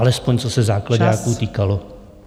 Alespoň co se záklaďáků týkalo.